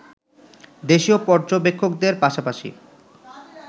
দেশীয় পর্যবেক্ষকদের পাশাপাশি